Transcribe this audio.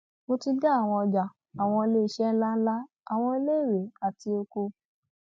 mo ti dé àwọn ọjà àwọn iléeṣẹ ńlá ńlá àwọn iléèwé àti oko